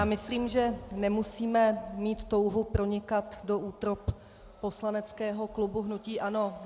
Já myslím, že nemusíme mít touhu pronikat do útrob poslaneckého klubu hnutí ANO.